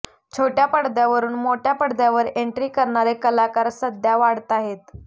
छोट्या पडद्यावरून मोठ्या पडद्यावर एंट्री करणारे कलाकार सध्या वाढताहेत